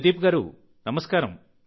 ప్రదీప్ గారూ నమస్కారం